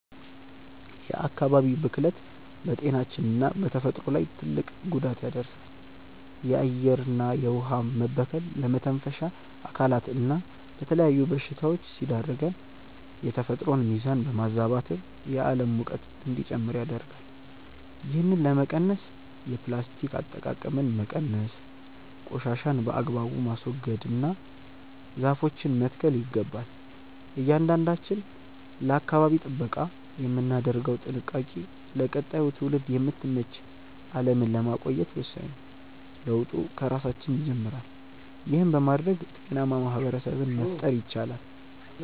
የአካባቢ ብክለት በጤናችንና በተፈጥሮ ላይ ትልቅ ጉዳት ያደርሳል። የአየርና የውኃ መበከል ለመተንፈሻ አካላትና ለተለያዩ በሽታዎች ሲዳርገን፣ የተፈጥሮን ሚዛን በማዛባትም የዓለም ሙቀት እንዲጨምር ያደርጋል። ይህንን ለመቀነስ የፕላስቲክ አጠቃቀምን መቀነስ፣ ቆሻሻን በአግባቡ ማስወገድና ዛፎችን መትከል ይገባል። እያንዳንዳችን ለአካባቢ ጥበቃ የምናደርገው ጥንቃቄ ለቀጣዩ ትውልድ የምትመች ዓለምን ለማቆየት ወሳኝ ነው። ለውጡ ከራሳችን ይጀምራል። ይህን በማድረግ ጤናማ ማኅበረሰብ መፍጠር ይቻላል።